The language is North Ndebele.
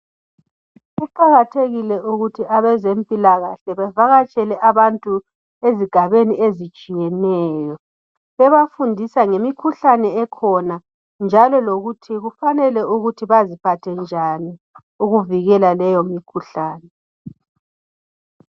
Kuqakathekile ukuthi abezempilakahle bevakatshele abantu ezigabeni ezitshiyeneyo bebafundisa bebafundisa ngemikhuhlane ekhona njalo lokuthi kufanele baziphathe njani ukuvikela leyo mikhuhlane.